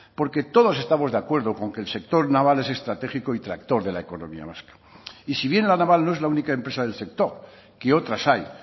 porque todos estamos de acuerdo con que el sector naval es estratégico y tractor de la economía vasca y si bien la naval no es la única empresa del sector que otras hay